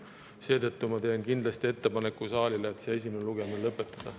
Seetõttu teen kindlasti saalile ettepaneku esimene lugemine lõpetada.